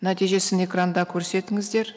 нәтижесін экранда көрсетіңіздер